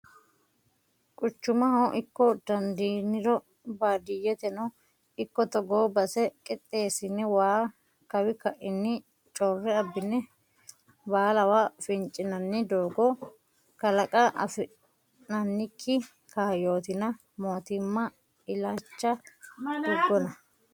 Quchumaho ikko dandiiniro baadiyyeteno ikko togo base qixxeesine waa kawi kaini core abbine baallawa fincinanni doogo kalaqa afi'nannikki kaayyotinna mootimma illacha tugonna.